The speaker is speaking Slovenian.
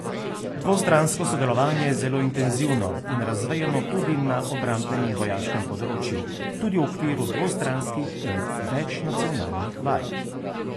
Dvostransko sodelovanje je zelo intenzivno in razvejano tudi na obrambnem in vojaškem področju, tudi v okviru dvostranskih in večnacionalnih vaj.